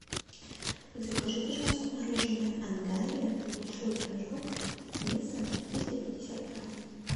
закажи пожалуйста мороженое ангария большой рожок весом триста пятьдесят грамм